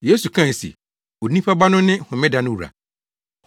Yesu kae se, “Onipa Ba no ne Homeda no wura.”